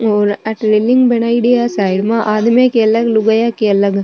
और अठे रेलिंग बनाईड़ी है साइड मा आदमी के अलग लुगाया के अलग।